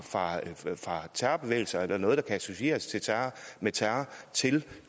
terrorbevægelser eller noget der kan associeres med terror til